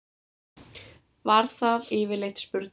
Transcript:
Var það yfirleitt spurningin.